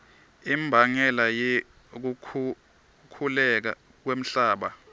imbangela yekukhukhuleka kwemhlaba